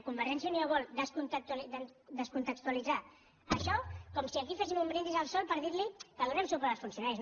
convergència i unió vol descontextualitzar això com si aquí féssim un brindis al sol per dir que donem suport als funcionaris